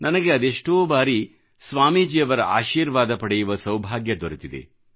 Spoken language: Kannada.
ನನಗೆ ಅದೆಷ್ಟೋ ಬಾರಿ ಸ್ವಾಮೀಜಿಯವರ ಆಶೀರ್ವಾದ ಪಡೆಯುವ ಸೌಭಾಗ್ಯ ದೊರೆತಿದೆ